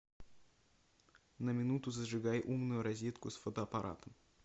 на минуту зажигай умную розетку с фотоаппаратом